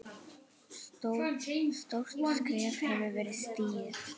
Stórt skref hefur verið stigið.